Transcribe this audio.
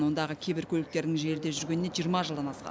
ондағы кейбір көліктердің желіде жүргеніне жиырма жылдан асқан